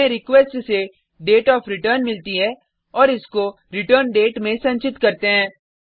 हमें रिक्वेस्ट से डेटियोफ्रेटर्न मिलती है और इसको रिटर्नडेट में संचित करते हैं